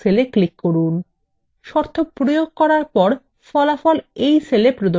শর্ত প্রয়োগ করার পর ফলাফল এই cell প্রদর্শিত হবে